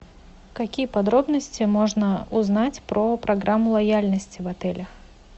какие подробности можно узнать про программу лояльности в отелях